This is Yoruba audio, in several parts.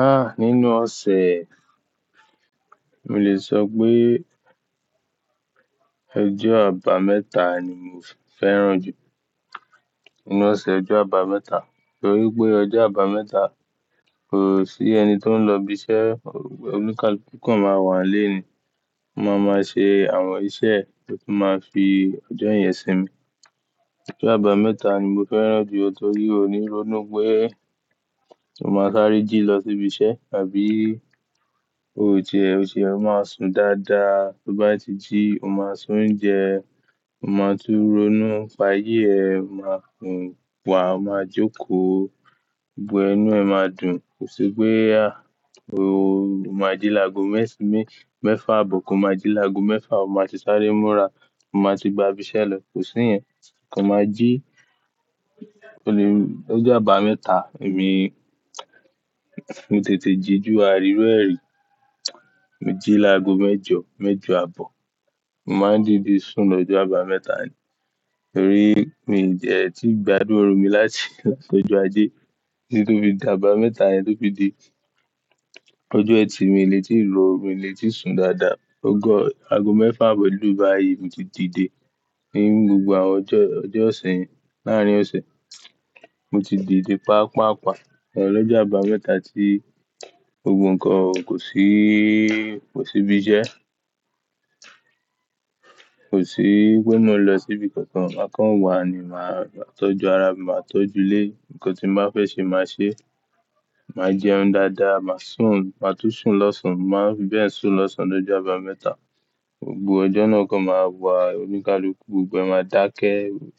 Ah! Nínú ọ̀sẹ̀, mo lè sọ pé ojọ́ àbámẹ́ta ni mò fẹ́ràn jù. Nínú ọ̀sẹ̀ ojọ́ àbámẹ́ta, torí pé ọjọ́ àbámẹ́ta kò sí ẹni tó ń lọ ibi iṣẹ́, oníkálukú kan máa wà nílé ni. Ó máa máa ṣe àwọn iṣẹ́ tó máa fi ọjọ́ ìyẹn sinmi. Ojọ́ àbámẹ́ta ni mò fẹ́ràn jù torí kò ní ronú pé o máa sáré jí lọ sí ibi iṣẹ́ àbí ó jẹ ó jẹ ó máa sùn dáadáa. Bí ó bá ti jí, o máa se onjẹ, o máa tú ronú, nipa ayé ẹ, o máa sun, o máa jókòó, gbogbo ẹnu ẹ máa dùn. Kò sí pé a o máa jí lágo mẹ́fà abọ̀, ko máa jí lágo mẹ́fà, o máa ti sáré múra, o máa ti gba ibi iṣẹ́ lọ. Kò sí yẹn. Ko máa jí. O le-- ọjọ́ àbámẹ́ta èmi, mo tètè jí ju àriru e ri Mo jí lágo mẹ́jọ, mẹ́jọ àbọ̀. Mo máa ń dìde sùn lọ́jọ́ àbámẹ́ta ni. Torí mi ò jẹ́ ẹ ti gbádùn oru mi láti láti ọjọ́ ajé títí tó fi dà. Àbámẹ́ta yẹn tó fi di ọjọ́ ẹtì, mo lè tíì ró, mo lè tíì sùn dáadáa. Àgọ́ mẹ́fà abọ̀ lu báyìí mo ti dìde. Ni gbogbo àwọn ọjọ́, ọjọ́ ọ̀sẹ̀ yẹn, láàárín ọ̀sẹ̀, mo ti dìde paapaa pa lọ́jọ́ àbámẹ́ta tí gbogbo nǹkan kò sí, kò sí ibi iṣẹ́. Kò sí pé mú lọ síbi kankan, màá kan wà ni màá tọ́jú ara mi, màá tọ́jú ilé. Ǹkan tí mo bá fẹ́ ṣe máa ṣe. Màá jẹun dáadáa, màá sùn, màá tún sùn lọ́sàn-án. Màá bẹ́ẹ̀ sùn lọ́sàn-án lọ́jọ́ àbámẹ́ta. Gbogbo ọjọ́ náà kan máa wà, oníkálukú gbogbo ẹ máa dákẹ́.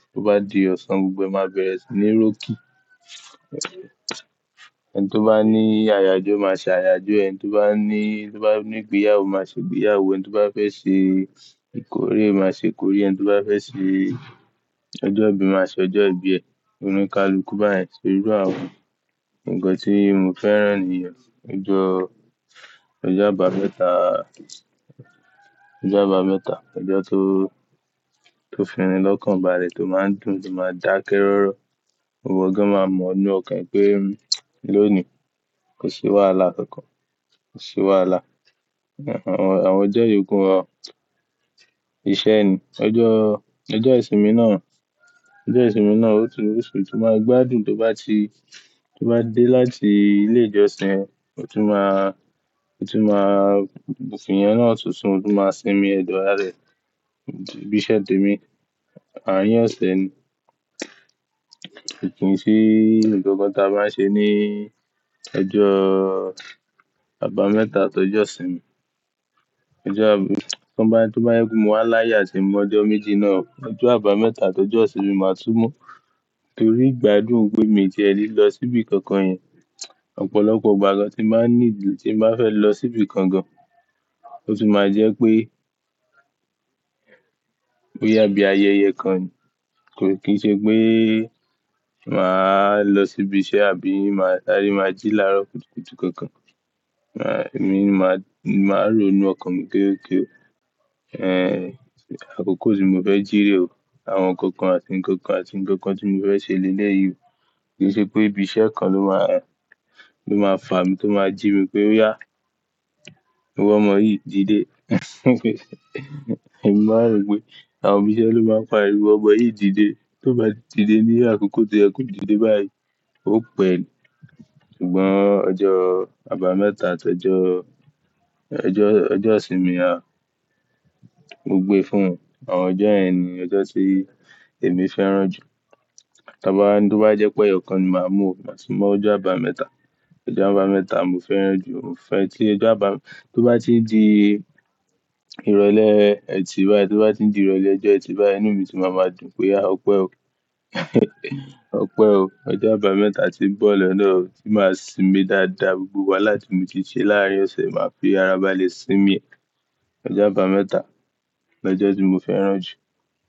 Tí ó bá di ọ̀sán gbogbo ẹ máa bẹ̀rẹ̀ sí ní rókì. Ẹni tó bá ní àyàjọ́ máa ṣe àyàjọ́ ẹ. Ẹni tó bá ní, tó bá ní ìgbéyàwó máa ṣe ìgbéyàwó ẹ. Ẹni tó bá fẹ́ ṣe ìkórè máa ṣe ìkórè. Ẹni tó bá fẹ́ ṣe ọjọ́ ìbí máa ṣe ọjọ́ ìbí ẹ. Oníkálukú báyìí ṣe gbogbo àwọn ǹkan tí mo fẹ́ràn nìyẹn. Ọjọ́, ọjọ́ àbámẹ́ta, ọjọ́ àbámẹ́ta, ọjọ́ tó, tó fi í lọ́kàn bá rẹ̀ tó máa ń dùn, tó máa ń dákẹ́ rọ́rọ́. Gbogbo ǹkan máa mọ̀ ọ́nú ọ̀kan pé lónìí kò sí wàhálà kankan, kò sí wàhálà. Àwọn ọjọ́ ìyókù wọn iṣẹ́ ni. Ọjọ́, ọjọ́ ìsinmi náà, ọjọ́ ìsinmi náà ó tún, ó tún máa gbádùn tó bá ti, tó bá dé láti ilé ìjọsìn, ó tún máa, ó tún máa, òkìnnìyẹn náà ó tún sùn, ó tún máa sinmi ẹ̀dọ̀ ara rẹ̀, bíṣẹ́ dímú. Àárín ọ̀sẹ̀ ni. Ǹjẹ́ kí n sí ǹjẹ́ nkankan táa máa ń ṣe ní ọjọ́ àbámẹ́ta àti ọjọ́ ìsinmi. Ọjọ́ àbá-- tí wọ́n bá yín mu wá láyà, ṣè mi ọjọ́ méjì náà. Ọjọ́ àbámẹ́ta àti ọjọ́ ìsinmi màá túmọ̀. Torí igbádùn pé mí jẹ́ ẹ lílọ síbi kankan yẹn. Ọ̀pọ̀lọpọ̀ ìgbà gan tí màá ní, tí màá fẹ́ lọ síbi kankan, ó tún máa jẹ́ pé, bo yà bí ayẹyẹ kan. Ki ṣe pé màá lọ sí ibi iṣẹ́ àbí màá sáré máa jí láàárọ̀ kùtùkùtù kankan. Èmi ni máa, máa ronú ọkàn mi géégé. Ẹ̀, àkókò tí mo fẹ́ jí rè o. Àwọn kankan àti ǹkankan àti ǹkankan tí mo fẹ́ ṣe lé ní èyí o. Kì í ṣe pé ibi iṣẹ́ kan ló máa, ló máa fà mí, tó máa jí mi pé ià, gbogbo ọmọ yìí dìde. Èmi máa rò pé àwọn òbí iṣẹ́ ló máa ń pa è mi. Gbogbo ọmọ yìí dìde. Bí ó bá ti dìde ní àkókò tí ẹ kò dìde báyìí, ó pé. Ṣùgbọ́n ọjọ́ àbámẹ́ta àti ọjọ́, ọjọ́, ọjọ́ ìsinmi á, ó gbe fún àwọn ọjọ́ ẹni, ọjọ́ tí èmi fẹ́ràn jù. Tí a bá, bí ó bá jẹ́ pé ẹyọkan ni màá mú, màá túmọ̀ ọjọ́ àbámẹ́ta. Ọjọ́ àbámẹ́ta mò fẹ́ràn jù. Mo fẹ́ tí ọjọ́ àbá-- bí ó bá ti di ìrọ̀lẹ́ ẹ ti bá, tí ó bá ti di ìrọ̀lẹ́ ẹ jẹ ẹ ti bá, ẹnu mi sì máa ma dùn pé ìà ọ̀ pẹ́ o. Ọ̀ pẹ́ o. Ọjọ́ àbámẹ́ta tí ń bọ̀ lọ́nà tí màá sinmi dáadáa, gbogbo wá láti mo ti ṣe láàárín ọ̀sẹ̀, màá fi ara ba lè sinmi ẹ̀. Ọjọ́ àbámẹ́ta, ọjọ́ tí mo fẹ́ràn jù.